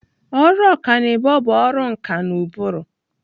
Ọrụ ọkanibo bụ ọrụ nkà na ụbụrụ.